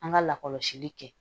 An ka lakɔlɔsili kɛ